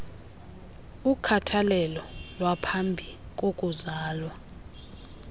ukhathalelo lwaphambi kokuzala